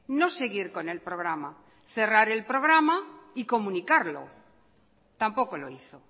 no seguir con el programa cerrar el programa y comunicarlo tampoco lo hizo